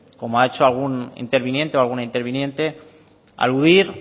como ha hecho algún interviniente o alguna interviniente aludir